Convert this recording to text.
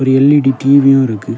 ஒரு எல்_இ_டி டி_வியும் இருக்கு.